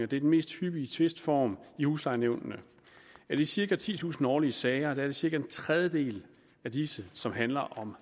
den mest hyppige tvistform i huslejenævnene af de cirka titusind årlige sager er det cirka en tredjedel som handler om